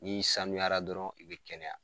N'i sanuyara dɔrɔn i bɛ kɛnɛya.